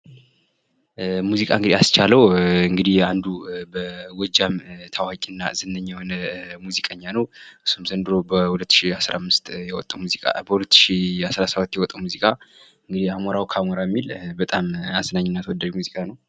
ሙዚቃ እንግዲህ አስቻለዉ አንዱ በጎጃም ታዋቂና ዝነኛ የሆነ ሙዚቀኛ ነዉ። እሱም ዘንድሮ በ2017 ያወጣዉ ሙዚቃ "አሞራዉ ካሞራዉ" የሚለዉ በጣም አዝናኝ እና ተወዳጅ ሙዚቃ ነዉ።